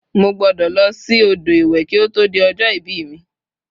mo gbudo lo si odo iwe ki oto di ojo ibi mi